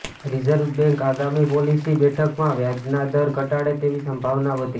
reserve bank આગામી policy બેઠકમાં વ્યાજનાદર ઘટાડે તેવી સંભાવના વધી